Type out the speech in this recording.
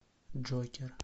джокер